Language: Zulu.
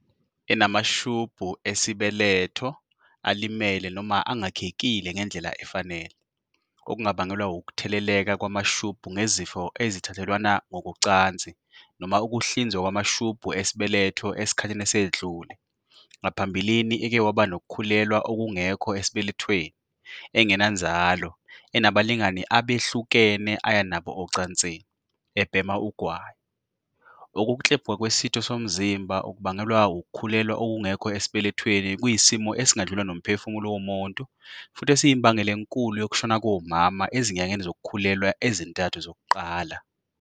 .enamashubhu esibe-letho alimele noma angakhekile ngendlela efanele, okungabangelwa wukutheleleka kwamashubhu ngezifo ezithathelwana ngokocansi noma ukuhlinzwa kwamashubhu esibeletho esikhathini esedlule, ngaphambilini eke waba nokukhulelwa okungekho esibelethweni, engenanzalo, enabalingani abehlukene aya nabo ocansini, ebhema ugwayi."Ukuklebhuka kwesitho somzimba okubangelwa wukukhulelwa okungekho esibelethweni kuyisimo esingadlula nomphefumulo womuntu futhi esiyimbangela enkulu yokushona komama ezinyangeni zokukhulelwa ezintathu zokuqala."